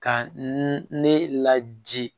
Ka n ne ladi